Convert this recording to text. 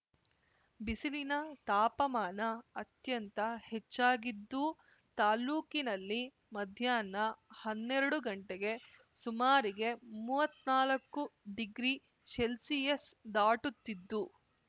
ಬಿಸಿಲಿನ ತಾಪಮಾನ ಅತ್ಯಂತ ಹೆಚ್ಚಾಗಿದ್ದು ತಾಲ್ಲೂಕಿನಲ್ಲಿ ಮಧ್ನಾಹ್ನ ಹನ್ನೆರಡು ಗಂಟೆಗೆ ಸುಮಾರಿಗೆ ಮುವತ್ನಾಲ್ಕು ಡಿಗ್ರಿ ಸೆಲ್ಸಿಯಸ್ ದಾಟುತ್ತಿದ್ದು